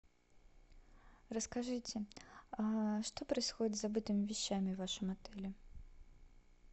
расскажите что происходит с забытыми вещами в вашем отеле